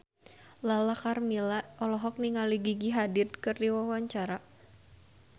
Lala Karmela olohok ningali Gigi Hadid keur diwawancara